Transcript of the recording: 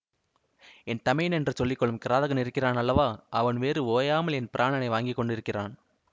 என் தமையன் என்று சொல்லி கொள்ளும் கிராதகன் இருக்கிறான் அல்லவா அவன் வேறு ஓயாமல் என் பிராணனை வாங்கி கொண்டிருக்கிறான்